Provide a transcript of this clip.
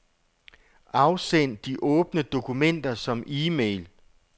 Afsend de åbne dokumenter som e-mail.